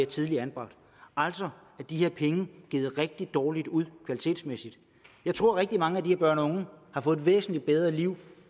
tidligere altså er de her penge givet rigtig dårligt ud kvalitetsmæssigt jeg tror at rigtig mange af de her børn og unge har fået et væsentligt bedre liv